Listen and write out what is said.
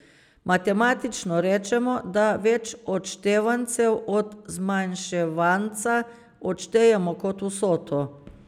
Matematično rečemo, da več odštevancev od zmanjševanca odštejemo kot vsoto.